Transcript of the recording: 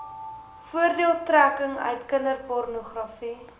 voordeeltrekking uit kinderpornogra